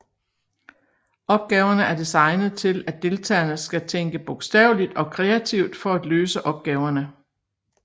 Opgaverne er designet til at deltagerne skal tænke bogstaveligt og kreativt for at løse opgaverne